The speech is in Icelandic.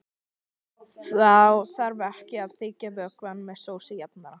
Þá þarf ekki að þykkja vökvann með sósujafnara.